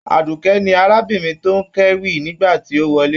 Adukẹ́ ni arábìnrin tó n k'ewí nígbàtí o wọlé.